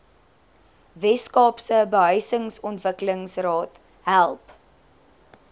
weskaapse behuisingsontwikkelingsraad help